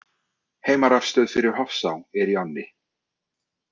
Heimarafstöð fyrir Hofsá er í ánni.